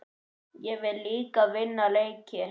Ég vil líka vinna leiki.